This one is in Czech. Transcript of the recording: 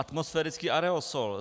Atmosférický aerosol.